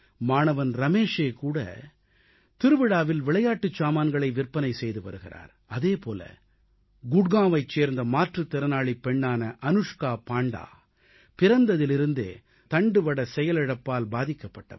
மாணவன் ரமேஷேகூட திருவிழாவில் விளையாட்டுச் சாமான்களை விற்பனை செய்து வருகிறார் அதேபோல குட்காவைச் சேர்ந்த மாற்றுத் திறனாளிப் பெண்ணான அனுஷ்கா பாண்டா பிறந்ததிலிருந்தே ஸ்பைனல் மஸ்குலர் அட்ரோபி என்ற தண்டுவட செயலிழப்பால் பாதிக்கப்பட்டவர்